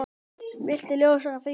Viltu ljóstra því upp?